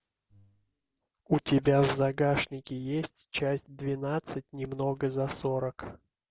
у тебя в загашнике есть часть двенадцать немного за сорок